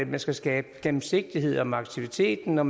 man skal skabe gennemsigtighed om aktiviteten og